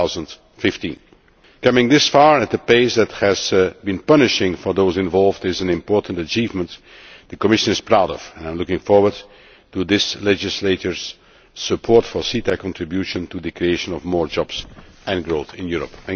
2015. Coming this far, at a pace which has been punishing for those involved, is an important achievement which the Commission is proud of, and I look forward to this legislator's support for CETA's contribution to the creation of more jobs and growth in Europe.